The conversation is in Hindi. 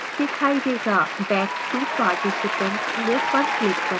back to participants list पर click करें